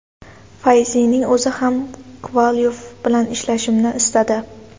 Fayzining o‘zi ham Kovalyov bilan ishlashimni istadi.